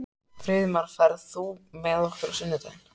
Friðmar, ferð þú með okkur á sunnudaginn?